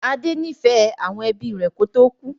Adé nifẹ àwọn ẹbí rẹ kò tó kú.